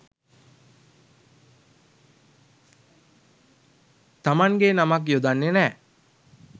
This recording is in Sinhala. තමන්ගේ නමක් යොදන්නේ නෑ.